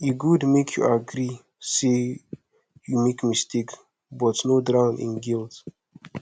e gud mek yu agree say yu mek mistake but no drown in guilt